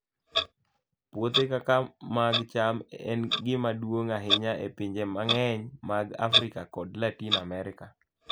Puothe kaka mag cham en gima duong' ahinya e pinje mang'eny mag Afrika kod Latin Amerka.